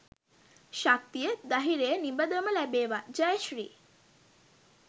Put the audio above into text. ශක්තිය.දහිරය නිබදවම ලැබේවා ජය ශ්‍රී